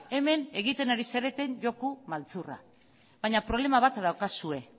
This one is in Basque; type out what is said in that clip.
hemen egiten ari zareten joko maltzurra baina problema bat daukazue